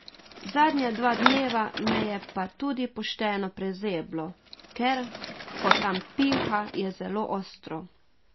Zadnja dva dneva me je pa tudi pošteno prezeblo, ker, ko tam piha, je zelo ostro.